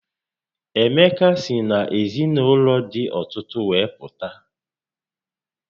Emeka si n'ezinaụlọ dị ọtụtụ wee pụta